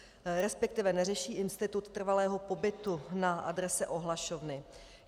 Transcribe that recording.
Respektive neřeší institut trvalého pobytu na adrese ohlašovny.